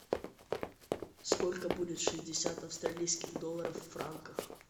сколько будет шестьдесят австралийских долларов в франках